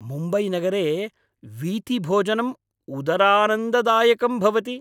मुम्बैनगरे वीथिभोजनं उदरानन्ददायकं भवति।